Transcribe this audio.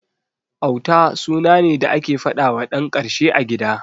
Auta suna ne da ake faɗawa ɗan karshe a gida.